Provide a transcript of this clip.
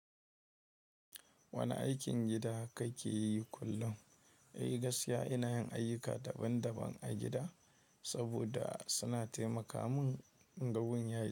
Wane aikin gida kake yi kullum? Ei gaskiya ina yin ayyuka daban-daban a gida saboda suna taimaka mun ga wun yayi.